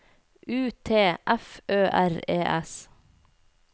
U T F Ø R E S